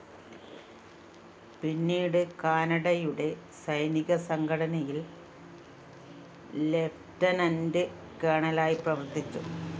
പിന്നീട് കാനഡയുടെ സൈനിക സംഘടനയില്‍ ലിയൂട്ടെനന്റ്‌ കേണലായി പ്രവര്‍ത്തിച്ചു